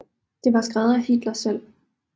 Det var skrevet af Hitler selv